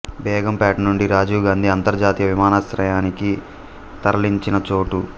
బేగంపేట నుండి రాజీవ్ గాంధీ అంతర్జాతీయ విమానాశ్రయాన్ని తరలించిన చోటు